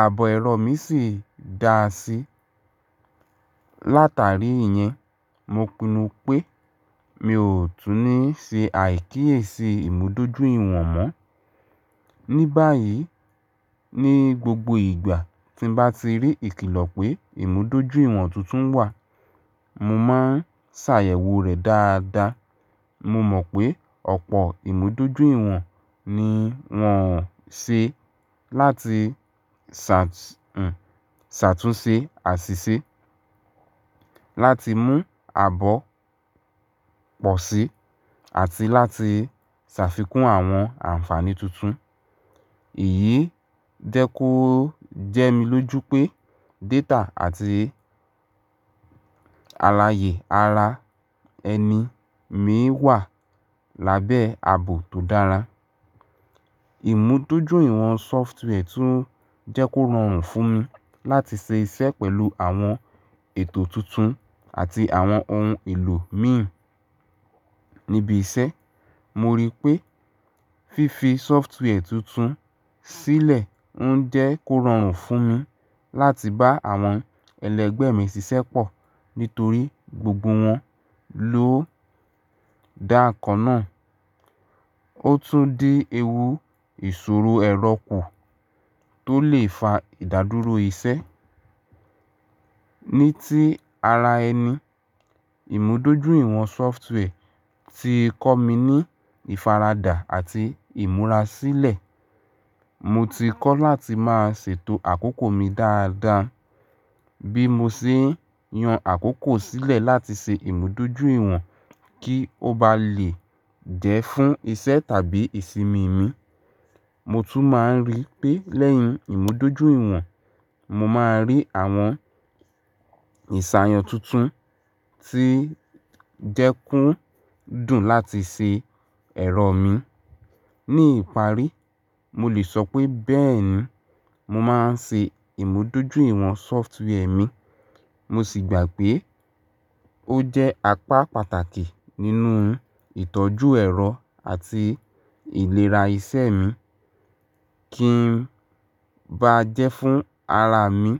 Ààbò ẹrọ mi sì dáa sí. Látàrí ìyẹn, mo pinnu pé mi ò tún ní ṣe àíkíyèsí ìmúdójúìwọ̀n mọ́. Ni báyìí, ní gbogbo ìgbà tí bá ti rí ìkìlọ̀ pé ìmúdójúìwọ̀n tuntun wà, mo máa ń ṣàyẹ̀wò rẹ̀ dáadáa. Mo mọ̀ pé ọ̀pọ̀ ìmúdójúìwọ̀n ni wọ́n'o ṣe láti ṣàt-hmm-ṣàtúnṣe àṣìṣe, láti mú ààbò pọ̀ sí àti láti ṣàfikún àwọn ànfàní tuntun. Èyí jẹ́ kó jẹ́ mi lójú pé data àti alàyè ara ẹni mi wà lábẹ́ ààbò tó dára. Ìmúdójú'ìwọ̀n software tún jẹ́ kó rọrùn fún mi láti ṣe iṣẹ́ pẹ̀lú àwọn ètò tuntun àti àwọn ohun èlò mi. Nibi iṣẹ́, mo rí pé fífi software tuntun sílẹ̀ ń jẹ́ kó rọrùn fún mi láti bá àwọn ẹlẹgbẹ́ mi ṣiṣẹ́ pọ̀ nítorí gbogbo wọn ló dá ǹkan náà. Ó tún dí ewu ìṣòro ẹ̀rọ kù tó lè fa ìdádúró iṣẹ́. Ni tí ara ẹni, ìmúdójú'ìwọ̀n software ti kọ́ mi ní ìfaradà àti ìmúrasílẹ̀. Mo ti kọ́ láti máa ṣètò àkókò mi dáadáa bí mo ṣe ń yan àkókò sílẹ̀ láti ṣe ìmúdójúìwọ̀n kí ó bá lè jẹ́ fún iṣẹ́ tàbí ìsimi mi. Mo tún máa ń rí pé lẹ́yìn ìmúdójúìwọ̀n, mo máa rí àwọn ìṣàyàn tuntun tí jẹ́ kí ń dùn láti ṣe ẹ̀rọ mi. Ni ìparí, mo lè sọ pé bẹ́ẹ̀ni, mo máa ń ṣe ìmúdójúìwọ̀n software mi. Mo sì gbà pé ó jẹ́ apá pàtàkì nínú ìtọ́jú ẹ̀rọ àti ìlera ìṣe mi. Kí ń bá jẹ́ fún ara mi